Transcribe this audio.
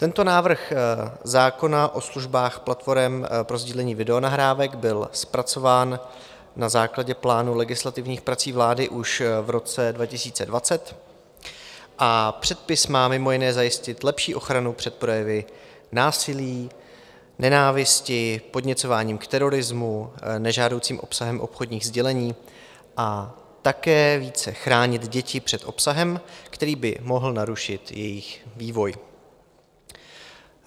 Tento návrh zákona o službách platforem pro sdílení videonahrávek byl zpracován na základě plánu legislativních prací vlády už v roce 2020 a předpis má mimo jiné zajistit lepší ochranu před projevy násilí, nenávisti, podněcováním k terorismu, nežádoucím obsahem obchodních sdělení a také více chránit děti před obsahem, který by mohl narušit jejich vývoj.